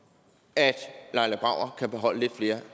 at laila brauer kan beholde lidt flere